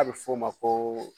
A bɛ fɔ o ma ko